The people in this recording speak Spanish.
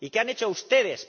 ¿Y qué han hecho ustedes?